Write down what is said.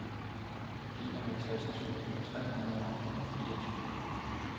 enoghalvtreds tusind tre hundrede og fireogtyve